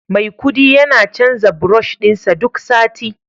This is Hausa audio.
Maikudi yana canza brush din sa duk sati